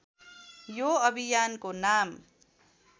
यो अभियानको नाम